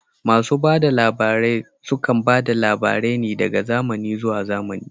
Masu bada labarai sukan bada labarai ne daga zamani zuwa zamani